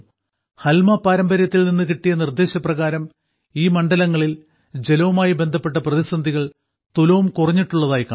ഹൽമ പാരമ്പര്യത്തിൽ നിന്നു കിട്ടിയ നിർദ്ദേശപ്രകാരം ഈ മണ്ഡലങ്ങളിൽ ജലവുമായി ബന്ധപ്പെട്ട പ്രതിസന്ധികൾ തുലോം കുറഞ്ഞിട്ടുള്ളതായി കാണാം